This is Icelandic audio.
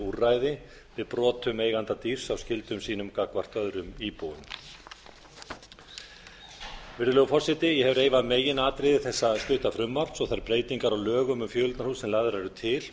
úrræði við brotum eiganda dýrs á skyldum sínum gagnvart öðrum íbúum virðulegur forseti ég hef reifað meginatriði þessa stutta frumvarps og þær breytingar á lögum um fjöleignarhús sem lagðar eru til